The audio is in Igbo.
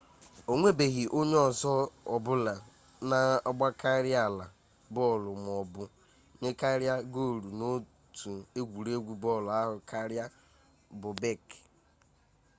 o nwebeghị onye ọzọ ọbụla na-agbakarịala bọọlụ maọbụ nyekarịa goolụ n'otu egwuregwu bọọlụ ahụ karịa bobek